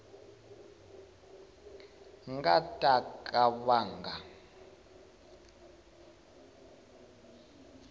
nga ta ka va nga